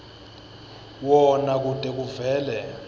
wona kute kuvele